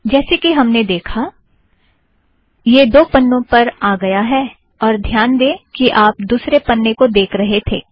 जैसे कि हमने देखा यह दो पन्नों पर आ गया है और ध्यान दें कि आप दुसरे पन्ने को देख रहे थे